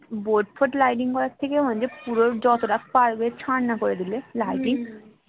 boat ফোট lighting করার থেকে বরঞ্চ পুরো যত টা পারবে ছাতনা করে দিলে lighting heavy লাগবে